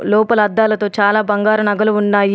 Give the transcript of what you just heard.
లోపల అద్దాలతో చాలా బంగారు నగలు ఉన్నాయి.